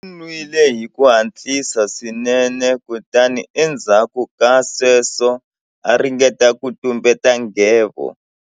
U nwile hi ku hatlisa swinene kutani endzhaku ka sweswo a ringeta ku tumbeta nghevo.